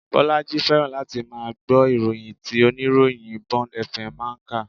Bolaji fẹ́ràn láti máa gbọ́ ìròyìn tí oníròyìn Bond FM máa ń kà